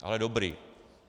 Ale dobrý.